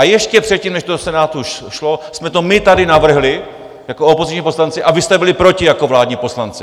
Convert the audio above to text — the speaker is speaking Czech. A ještě předtím, než to do Senátu šlo, jsme to my tady navrhli jako opoziční poslanci a vy jste byli proti jako vládní poslanci!